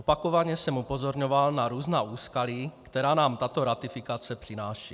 Opakovaně jsem upozorňoval na různá úskalí, která nám tato ratifikace přináší.